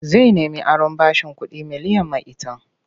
Zai nemi aron bashin kuɗi miliyan maitan.